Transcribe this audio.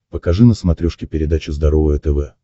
покажи на смотрешке передачу здоровое тв